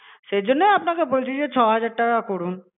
সেই জন্য আপনাকে বলছিলাম যে ছ হাজার টাকা করুন.